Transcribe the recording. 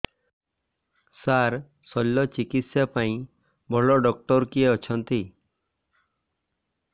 ସାର ଶଲ୍ୟଚିକିତ୍ସା ପାଇଁ ଭଲ ଡକ୍ଟର କିଏ ଅଛନ୍ତି